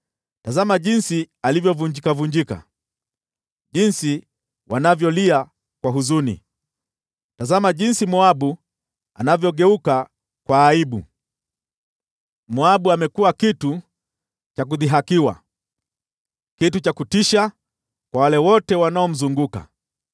“Tazama jinsi alivyovunjikavunjika! Jinsi wanavyolia kwa huzuni! Tazama jinsi Moabu anavyogeuka kwa aibu! Moabu amekuwa kitu cha kudhihakiwa, kitu cha kutisha kwa wale wote wanaomzunguka.”